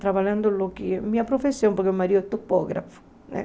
Trabalhando no que é minha profissão, porque o marido é topógrafo, né?